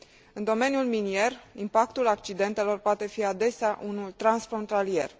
În domeniul minier, impactul accidentelor poate fi, adesea, unul transfrontalier.